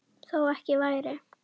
Þó ekki væri.